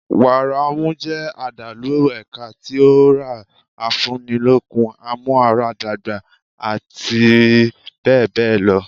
Wàrà ọmú jẹ́ àdàlù ẹ̀ka tí ọ̀rá, afúni lókun, amúara dàgbà àti bẹ́ẹ̀ bẹ́ẹ̀ lọ.